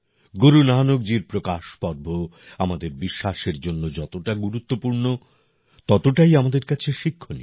গুরু নানকজীর প্রকাশপর্ব আমাদের বিশ্বাসের জন্য যতটা গুরুত্বপূর্ণ ততটাই আমাদের কাছে শিক্ষণীয়